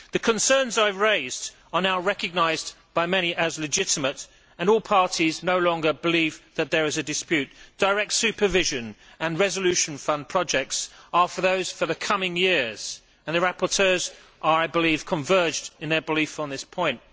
The concerns I have raised are now recognised by many as legitimate and all parties no longer believe that there is a dispute. Direct supervision and resolution fund projects are for those for the coming years and the rapporteurs are, I believe, converged in their belief on this point.